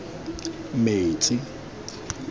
metsi